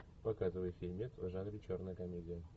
показывай фильмец в жанре черная комедия